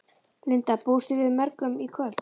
Linda: Búist þið við mörgum í kvöld?